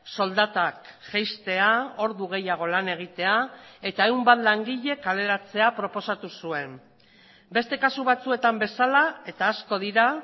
soldatak jaistea ordu gehiago lan egitea eta ehun bat langile kaleratzea proposatu zuen beste kasu batzuetan bezala eta asko dira